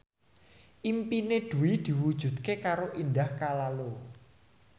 impine Dwi diwujudke karo Indah Kalalo